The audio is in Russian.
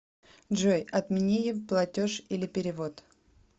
джой отмениье платеж или перевод